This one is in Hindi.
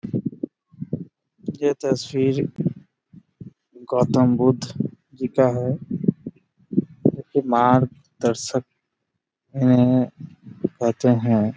ये तस्वीर गौतम बुद्ध जी का है जो कि मार्ग-दर्शक इन्हे कहते हैं।